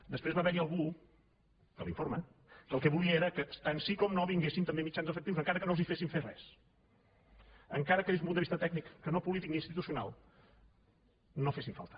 després va haver hi algú que a l’informe el que volia era que tan sí com no vinguessin també mitjans efectius encara que no els féssim fer res encara que des d’un punt de vista tècnic que no polític ni institucional no fessin falta